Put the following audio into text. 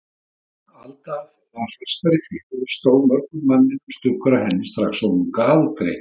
Alda var fastari fyrir og stóð mörgum manninum stuggur af henni strax á unga aldri.